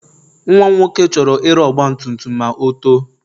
Nwa m nwoke chọrọ ire ọgbatumtum ma o too.